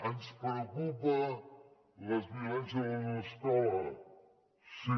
ens preocupen les violències a l’escola sí